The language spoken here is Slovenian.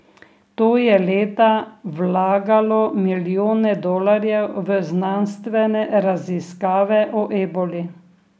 To je leta vlagalo milijone dolarjev v znanstvene raziskave o eboli.